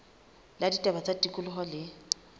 la ditaba tsa tikoloho le